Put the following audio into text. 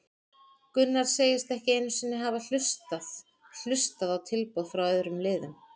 Gunnar segist ekki einu sinni hafa hlustað hlustað á tilboð frá öðrum liðum.